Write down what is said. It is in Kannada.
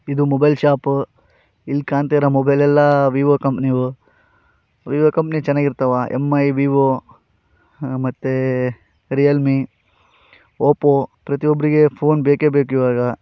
ಇದು ಮೊಬೈಲ್‌ ಶಾಪ್‌ ಇಲ್ಲಿ ಕಾಣುತ್ತಿರುವ ಮೊಬೈಲ್‌ ಎಲ್ಲಾ ವಿವೋ ಕಂಪನಿಯವು ವಿವೋ ಕಂಪನಿ ಚೆನ್ನಾಗಿ ಇರುತ್ತೆ. ಎಂ.ಐ. ವಿವೋ ಮತ್ತೆ ರೀಯಲ್‌ ಮೀ ಓಪೋ ಪ್ರತಿಯೊಬ್ಬರಿಗೆ ಪೋನ್ ಬೇಕೇ ಬೇಕು ಇವಾಗ.